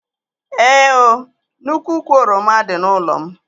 Ee ooo, nnukwu úkwù oroma dị n'ụlọ m